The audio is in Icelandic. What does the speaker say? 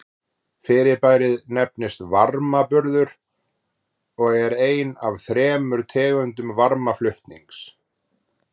Fyrirbærið nefnist varmaburður og er ein af þremur tegundum varmaflutnings.